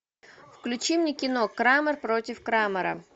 включи мне кино крамер против крамера